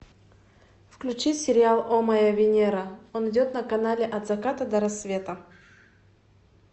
включи сериал о моя венера он идет на канале от заката до рассвета